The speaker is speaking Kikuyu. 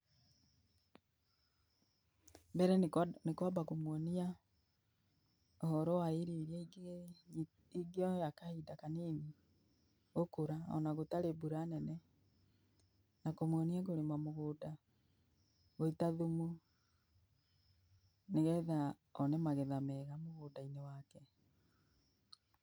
Mbere nĩ kwamba kũmuonia ũhoro wa irio iria ingĩoya kahinda kanini gũkũra ona gũtarĩ mbura nene, na kũmuonia gũita thumu, nĩgetha one magetha meega mũgũnda-inĩ wake.